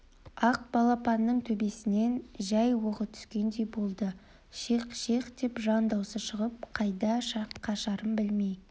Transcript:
ақ балапанның төбесінен жай оғы түскендей болды шиқ шиқ деп жан даусы шығып қайда қашарын білмей